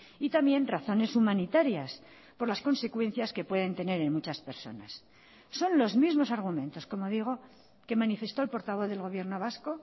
y también razones humanitarias por las consecuencias que pueden tener en muchas personas son los mismos argumentos como digo que manifestó el portavoz del gobierno vasco